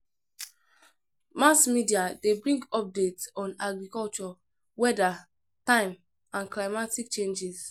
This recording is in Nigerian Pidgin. Mass media de bring updates on agriculture, weather, time and climatic changes